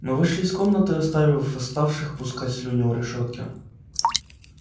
мы вышли из комнаты оставив восставших пускать слюни у решётки